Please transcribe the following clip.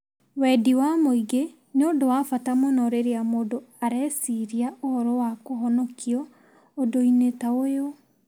Wendi wa mũingĩ nĩ ũndũ wa bata mũno rĩrĩa mũndũ arĩciiria ũhoro wa kũhonokio ũndũ-inĩ ta ũyũ.